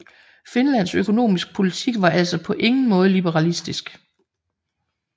Finlands økonomiske politik var altså på ingen måde liberalistisk